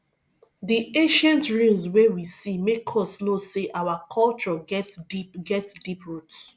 di ancient ruins wey we see make us know sey our culture get deep get deep roots